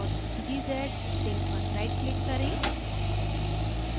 tar gz link पर rightclick करें